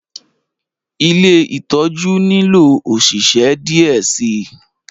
Ìlé itọju nilo oṣiṣẹ diẹ sii